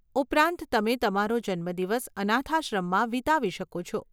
ઉપરાંત, તમે તમારો જન્મદિવસ અનાથાશ્રમમાં વિતાવી શકો છો.